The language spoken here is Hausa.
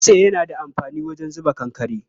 Dutse yana da amfani wajen zuba kankare.